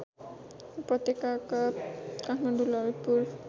उपत्यकाका काठमाडौँ ललितपुर